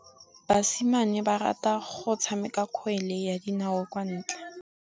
Basimane ba rata go tshameka kgwele ya dinaô kwa ntle.